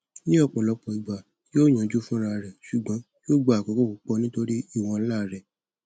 ní ọpọlọpọ ìgbà yóò yanjú fúnra rẹ ṣùgbọn yóò gba àkókò púpọ nítorí ìwọn ńlá rẹ